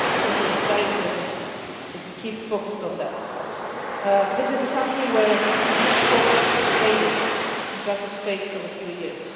I think it is very important that we keep focused on that. This is a country where huge hopes faded in the space of just a few years.